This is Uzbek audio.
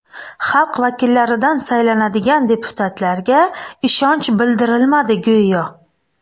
Xalq vakillaridan saylanadigan deputatlarga ishonch bildirilmadi go‘yo.